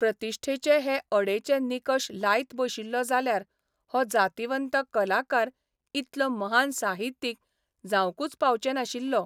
प्रतिश्ठेचे हे अडेचे निकश लायत बशिल्लो जाल्यार हो जातिवंत कलाकार इतलो महान साहित्यीक जावंकूच पावचे नाशिल्लो.